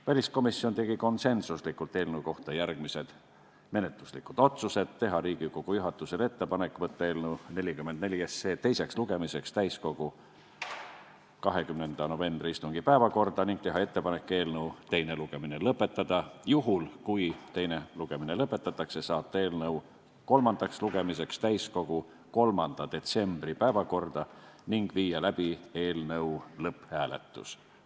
Väliskomisjon tegi konsensuslikult eelnõu kohta järgmised menetluslikud otsused: teha Riigikogu juhatusele ettepanek saata eelnõu 44 teiseks lugemiseks täiskogu 20. novembri istungi päevakorda ning teha ettepanek eelnõu teine lugemine lõpetada; juhul kui teine lugemine lõpetatakse, saata eelnõu kolmandaks lugemiseks täiskogu 3. detsembri päevakorda ning viia läbi eelnõu lõpphääletus.